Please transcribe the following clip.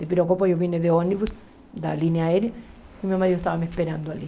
De Viracopos eu vim de ônibus, da linha aérea, e meu marido estava me esperando ali.